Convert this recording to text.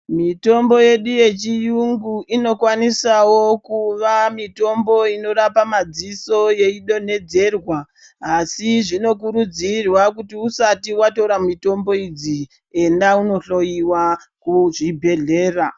Mitombo yedu yechiyungu inokwanisawo kuva mitombo inorapa madziso yeidonhedzerwa asi zvinokurudzirwa kuti usati watora mitombo idzi, enda inohloyiwa kuchibhedhlera.